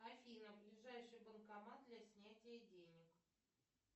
афина ближайший банкомат для снятия денег